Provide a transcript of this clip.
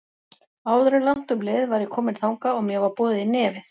Áður en langt um leið var ég komin þangað og mér var boðið í nefið.